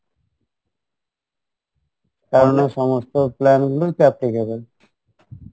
সমস্ত plan গুলোই তো